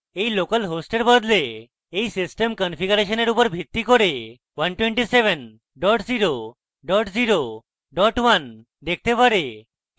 এই localhost বদলে এটি system কনফিগারেশনের উপর ভিত্তি করে 127001 দেখাতে পারে